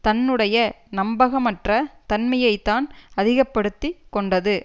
தன்னுடைய நம்பகமற்ற தன்மையை தான் அதிக படுத்தி கொண்டது